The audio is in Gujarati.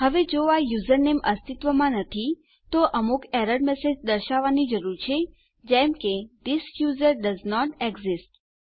હવે જો આ યુઝરનેમ અસ્તિત્વમાં નથી આપણે અમુક એરર મેસેજ દર્શાવવાની જરૂર છે જેમ કે થિસ યુઝર ડોએસન્ટ એક્સિસ્ટ